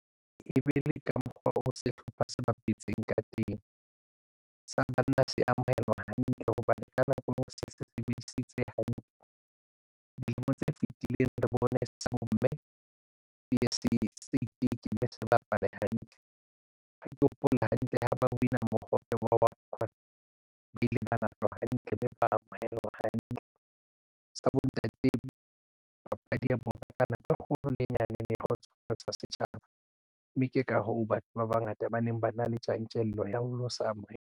E be le ka mokgwa o sehlopha se bapetseng ka teng sa banna se amohelwa hantle hobane ka nako o se sebedisitse hantle. Dilemo tse fitileng re bone sa bomme P_S_L itekile se bapale hantle. Ha ke hopola hantle ha ba win-a mohope wa World Cup kwana ba ile ba na utlwa hantle mme ba amohelwe hantle sa bontate papadi ya bona ka nako e kgolo le e nyane ba kgotsofatsa setjhaba mme ke ka hoo batho ba bangata ba neng ba na le tjantjello ya ho lo se amohela.